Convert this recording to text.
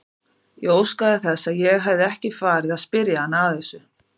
Ég óskaði þess að ég hefði ekki farið að spyrja hana að þessu.